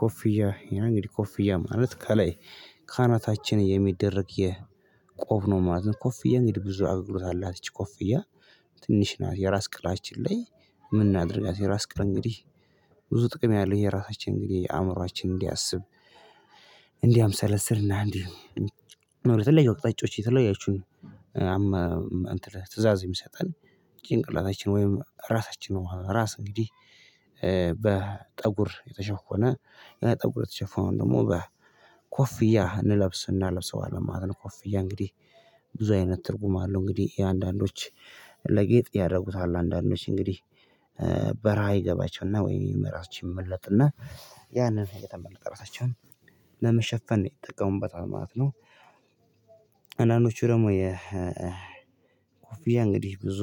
ኮፍያ እንግዲህ ኮፍያ ማለት ከላይ ካናታችን የሚደረግ የቆብ ነው ማለት ነው። ኮፍያ እንግዲህ ብዙ አገልግሎት አላት እቺ ኮፍያ። ትንሽ ናት የራስ ቅላችን ላይ ምን እናድርጋት? የራስ ቅል እንግዲህ። ብዙ ጥቅም ያለው የራሳችን እንግዲህ የአእምሮአችን እንዲያስብ። እንዲህ አምሰለስል እና እንዲህ ለየው ቅጣጮች የተለያችሁን። ትእዛዝ የሚሰጠን ጭንቅላታችን ወይም ራሳችን ነው። ራስ እንግዲህ በጠጉር የተሸፎ ነው። የነጠብ ቁርጥ የተሸፎ አሁን ደግሞ በኮፍያ እንለብስና ለብሰዋል ማለት ነው። ኮፍያ እንግዲህ ብዙ አይነት ትርጉም አለው። እንግዲህ አንዳንዶች ለጌጥ ያደርጉታል። አንዳንዶች እንግዲህ በራ ይገባቸውና ወይ መራችን ይመለጥና ያንን የተመለጠ ራሳቸውን ለመሸፈን ነው የሚጠቀሙበት በጣም ማለት ነው። አንዳንዶቹ ደግሞ የ ኮፊያ እንግዲህ ብዙ